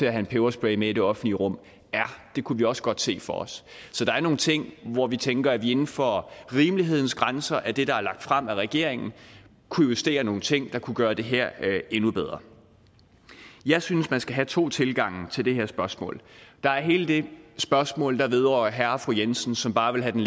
en peberspray med i det offentlige rum ja det kunne vi også godt se for os så der er nogle ting hvor vi tænker at vi inden for rimelighedens grænser af det der er lagt frem af regeringen kunne justere nogle ting der kunne gøre det her endnu bedre jeg synes at man skal have to tilgange til det her spørgsmål der er hele det spørgsmål der vedrører herre og fru jensen som bare vil have